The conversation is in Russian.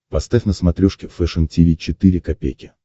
поставь на смотрешке фэшн ти ви четыре ка